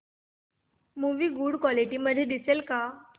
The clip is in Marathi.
मूवी गुड क्वालिटी मध्ये दिसेल का